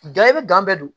i bɛ bɛɛ don